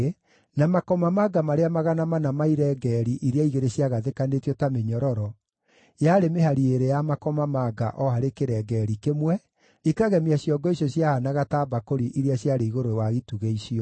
na makomamanga marĩa 400 ma irengeeri iria igĩrĩ ciagathĩkanĩtio ta mĩnyororo (yarĩ mĩhari ĩĩrĩ ya makomamanga o harĩ kĩrengeeri kĩmwe, ĩkagemia ciongo icio ciahanaga ta mbakũri iria ciarĩ igũrũ wa itugĩ icio);